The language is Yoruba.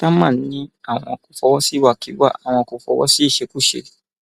támán ni àwọn kò fọwọ sí ìwàkiwà àwọn kò fọwọ sí ìṣekúṣe